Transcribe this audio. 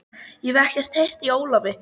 Ég hef ekkert heyrt í Ólafi.